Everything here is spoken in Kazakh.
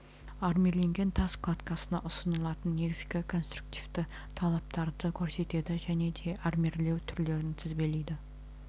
армирленген тас кладкасына ұсынылатын негізгі конструктивті талаптарды көрсетеді және де армирлеу түрлерін тізбелейді